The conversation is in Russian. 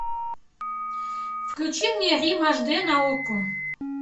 включи мне рим аш дэ на окко